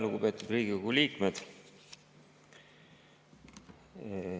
Lugupeetud Riigikogu liikmed!